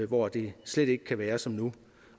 hvor det slet ikke kan være som nu